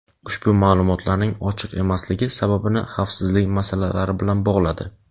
ushbu ma’lumotlarning ochiq emasligi sababini xavfsizlik masalalari bilan bog‘ladi.